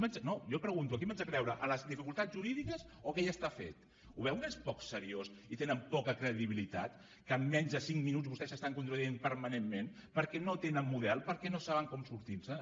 no jo pregunto a qui m’haig de creure a les dificultats jurídiques o que ja està fet ho veu que és poc seriós i tenen poca credibilitat que en menys de cinc minuts vostès s’estan contradient permanentment perquè no tenen model perquè no saben com sortirse’n